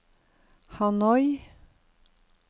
Hanoi